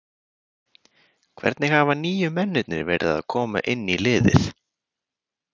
Hvernig hafa nýju mennirnir verið að koma inn í liðið?